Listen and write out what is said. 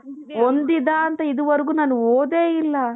ಹೊಂದಿದ ಅಂತ ಇದುವರೆಗೂ ನಾನು ಓದೇ ಇಲ್ಲ